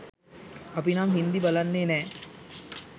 අපිනම් හින්දි බලන්නෙ නෑ